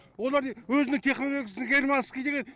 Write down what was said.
олар өзінің технологиясын германский деген